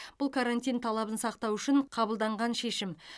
бұл карантин талабын сақтау үшін қабылданған шешім